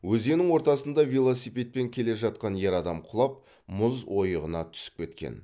өзеннің ортасында велосипедпен келе жатқан ер адам құлап мұз ойығына түсіп кеткен